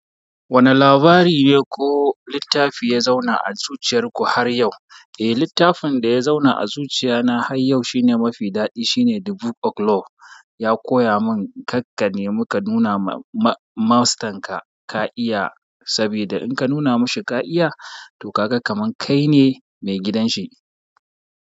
Wane labari ne ko littafi ya zauna a zuciyar ku har yau? Eh, littafin da ya zauna a zuciya na har yau shine mafi daɗi shine The Book of Love. Ya koya mun karka nemi ka nuna ma-ma-mastern ka ka'iya, saboda in ka nuna mashi ka'iya to kaga kamar kai ne maigidan shi.